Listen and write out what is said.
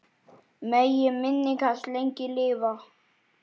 Megi minning hans lengi lifa.